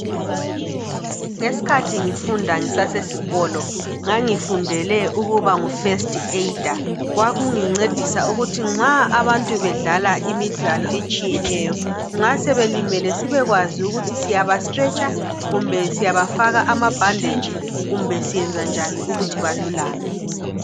Ngeskhathi ngifunda ngisasesikolo ngangifundele ukuba ngu festi eyida. Kwakungincedisa ukuthi nxa abantu bedlala imidlalo etshiyeneyo, nxa sebelimele sibekwazi ukuthi siyabastretsha, kumbe siysabafaka amabhanditshi kumbe siyenza njani ukuthi balulame.